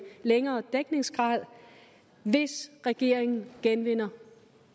længere dækningsgrad hvis regeringen genvinder